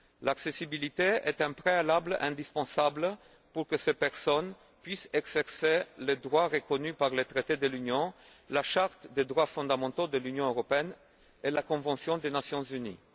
L'accessibilité est un préalable indispensable pour que ces personnes puissent exercer le droit reconnu par le traité de l'Union, la Charte des droits fondamentaux de l'Union européenne et la convention des Nations unies.